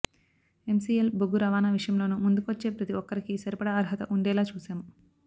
MCL బొగ్గు రవాణా విషయంలోనూ ముందుకొచ్చే ప్రతి ఒక్కరికీ సరిపడా అర్హత ఉండేలా చూశాం